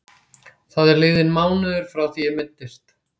Það er liðinn mánuður frá því ég meiddist.